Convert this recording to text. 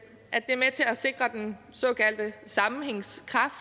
at det er med til at sikre den såkaldte sammenhængskraft